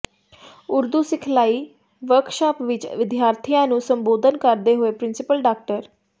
ਉਰਦੂ ਸਿਖਲਾਈ ਵਰਕਸ਼ਾਪ ਵਿੱਚ ਵਿਦਿਆਰਥੀਆਂ ਨੂੰ ਸੰਬੋਧਨ ਕਰਦੇ ਹੋਏ ਪ੍ਰਿੰਸੀਪਲ ਡਾ